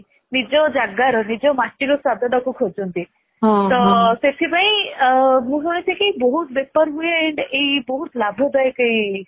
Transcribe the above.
ନିଜ ଜାଗାର ନିଜ ମାଟିର ସ୍ଵାଦଟାକୁ ଖୋଜନ୍ତି ତ ସେଥିପାଇଁ ମୁଁ ଶୁଣିଛି କି ବହୁତ ବେପାର ହୁଏ and ବହୁତ ଲାଭଦାୟକ ଏଇ